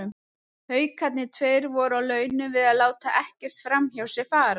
Haukarnir tveir voru á launum við að láta ekkert framhjá sér fara.